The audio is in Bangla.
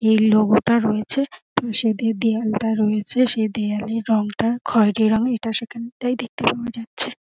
এই লোগো -টা রয়েছে। সেটি দেয়ালটা রয়েছে সেই দেয়ালের রং টা খৈরী রঙের এটার দেখতে পাওয়া যাচ্ছে।